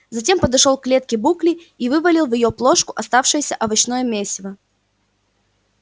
затем подошёл к клетке букли и вывалил в её плошку оставшееся овощное месиво